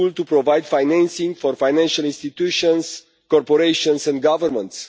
providing financing to financial institutions, corporations and governments.